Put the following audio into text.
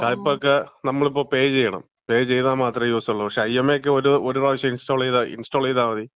Skype ഒക്കെ നമ്മള് ഇപ്പം പേ ചെയ്യണം. പേ ചെയ്താ മാത്രമേ യൂസുള്ളൂ. പക്ഷേ, ഐഎംഒ ഒക്കെ ഒരു പ്രാവശ്യം ഇൻസ്റ്റാൾ ചെയ്താ മതി.